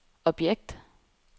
objekt